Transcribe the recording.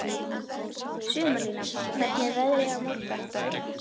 Sumarlína, hvernig er veðrið á morgun?